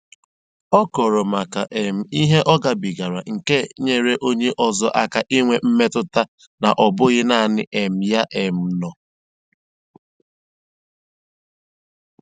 Ọ kọọrọ maka um ihe ọ gabigara nke nyere onye ọzọ aka inwe metụta na ọ bụghị naanị um ya um nọ